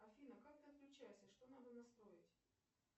афина как ты отключаешься что надо настроить